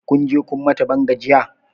Kunje kun mata ban gajiya?